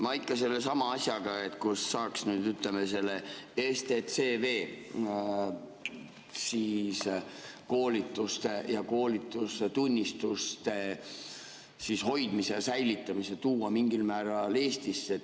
Ma ikka sellesama asjaga, kuidas saaks selle STCW‑koolituste ja koolitustunnistuste hoidmise ja säilitamise tuua mingil määral Eestisse.